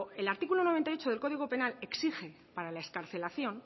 el artículo noventa y ocho del código penal exige para la excarcelación